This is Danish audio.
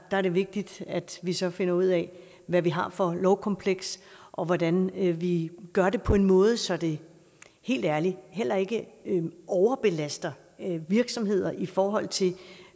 er det vigtigt at vi så finder ud af hvad vi har for et lovkompleks og hvordan vi vi gør det på en måde så det helt ærligt heller ikke overbelaster virksomheder i forhold til